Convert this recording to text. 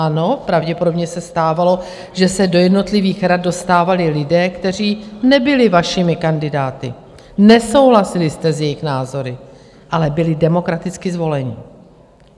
Ano, pravděpodobně se stávalo, že se do jednotlivých rad dostávali lidé, kteří nebyli vašimi kandidáty, nesouhlasili jste s jejich názory, ale byli demokraticky zvoleni.